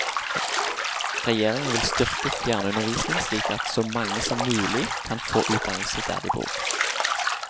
Regjeringen vil styrke fjernundervisning slik at så mange som mulig kan få utdannelse der de bor.